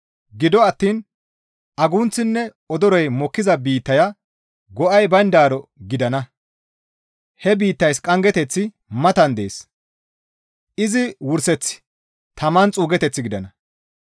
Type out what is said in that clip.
Gido attiin agunththinne odoroy mokkiza biittaya go7ay bayndaaro gidana; he biittays qanggeteththi matan dees; izi wurseththi taman xuugeteth gidana.